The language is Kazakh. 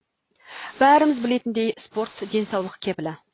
бәріміз білетіндей спорт денсаулық кепілі